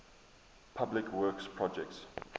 public works projects